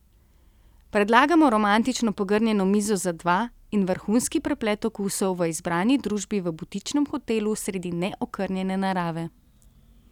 Predlagamo romantično pogrnjeno mizo za dva in vrhunski preplet okusov v izbrani družbi v butičnem hotelu sredi neokrnjene narave.